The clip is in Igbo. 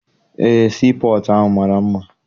Eé, sii pọtụ ahụ mara mma.